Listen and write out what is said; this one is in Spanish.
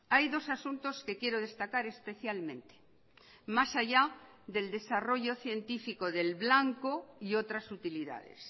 hay dos asuntos que quiero destacar especialmente más allá del desarrollo científico del blanco y otras utilidades